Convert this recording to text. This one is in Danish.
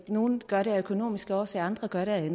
nogle gør det af økonomiske årsager andre gør det af